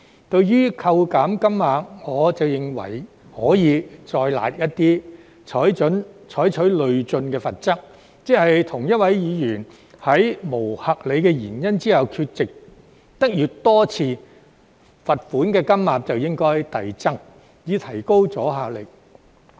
對於扣減金額，我則認為可以再"辣"一點，採取累進罰則，即同一位議員在沒有合理原因下缺席越多次，罰款金額就應該遞增，以提高阻嚇力。